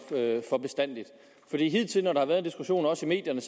for bestandig for hidtil når der har været en diskussion også i medierne